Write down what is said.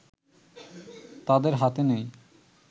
তাদের হাতে নেই